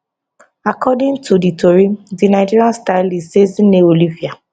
according to di tori di nigerian stylist ezinne olivia